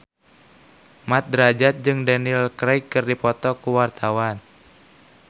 Mat Drajat jeung Daniel Craig keur dipoto ku wartawan